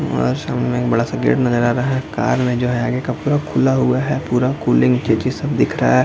और सामने बड़ा सा एक गेट नजर आ रहा है कार में जो है ये पूरा खुला हुआ है पूरा कूलिंग दिख रहा है।